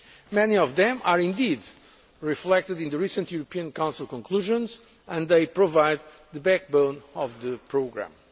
Many of them are indeed reflected in the recent European Council conclusions, and they provide the backbone of the programme.